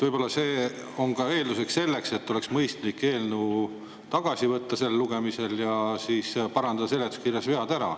Võib-olla see on ka eeldus, et oleks mõistlik eelnõu sellel lugemisel tagasi võtta ja parandada seletuskirjas vead ära.